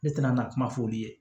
Ne tɛna na kuma f'olu ye